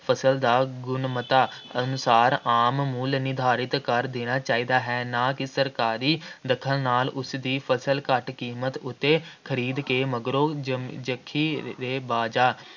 ਫ਼ਸਲ ਦਾ ਗੁਣਵੱਤਾ ਅਨੁਸਾਰ ਆਮ ਮੁੱਲ ਨਿਰਧਾਰਿਤ ਕਰ ਦੇਣਾ ਚਾਹੀਦਾ ਹੈ। ਨਾ ਕਿ ਸਰਕਾਰੀ ਦਖਲ ਨਾਲ ਉਸਦੀ ਫਸਲ ਘੱਟ ਕੀਮਤ ਉੱਤੇ ਖਰੀਦ ਕੇ ਮਗਰੋਂ ਜਖੀਰੇਬਾਜ਼ਾਂ